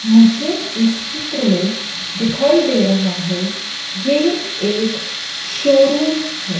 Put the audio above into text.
मुझे इस चित्र में दिखाई दे रहा हैं। ये एक शोरूम हैं।